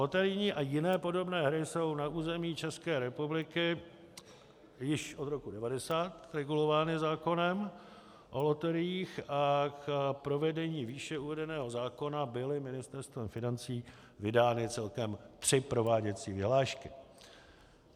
Loterijní a jiné podobné hry jsou na území České republiky již od roku 1990 regulovány zákonem o loteriích a k provedení výše uvedeného zákona byly Ministerstvem financí vydány celkem tři prováděcí vyhlášky.